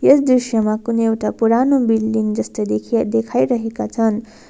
यस दृश्यमा कुनै एउटा पुरानो बिल्डिङ जस्तै देखिए देखाइरहेका छन्।